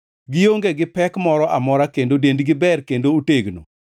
Gionge gi pek moro amora kendo dendgi ber kendo otegno.